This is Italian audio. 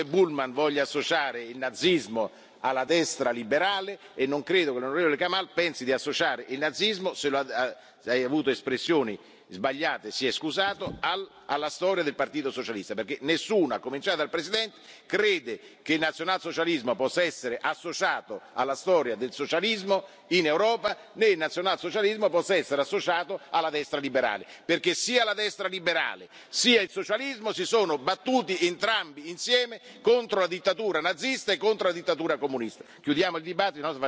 Non credo che l'onorevole Bullmann voglia associare il nazismo alla destra liberale e non credo che l'onorevole Kamall pensi di associare il nazismo se ha avuto espressioni sbagliate si è scusato alla storia del Partito socialista, perché nessuno, a cominciare dal Presidente, crede che il nazionalsocialismo possa essere associato alla storia del socialismo in Europa, né che il nazionalsocialismo possa essere associato alla destra liberale, perché sia la destra liberale sia il socialismo si sono battuti entrambi insieme contro la dittatura nazista e contro la dittatura comunista.